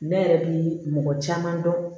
Ne yɛrɛ bi mɔgɔ caman dɔn